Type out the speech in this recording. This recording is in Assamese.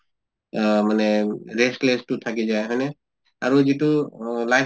আহ মানে restless তো থাকি যায়, হয় নে? আৰু যিটো অহ life